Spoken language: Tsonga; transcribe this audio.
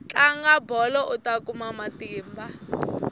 tlanga bolo uta kuma matimba